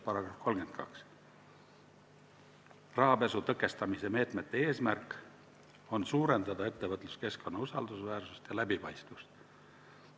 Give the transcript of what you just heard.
Rahapesu tõkestamise meetmete eesmärk on suurendada ettevõtluskeskkonna usaldusväärsust ja läbipaistvust.